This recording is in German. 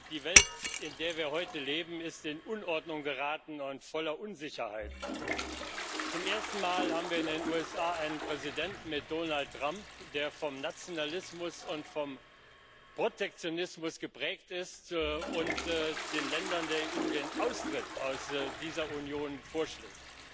Die Welt, in der wir heute leben, ist in Unordnung geraten und voller Unsicherheiten. Zum ersten Mal haben wir in den USA einen Präsidenten mit Donald Trump, der vom Nationalismus und vom Protektionismus geprägt ist und den Ländern der EU den Austritt aus dieser Union vorschlägt.